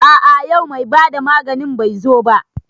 A a yau mai bada maganin bai zo ba.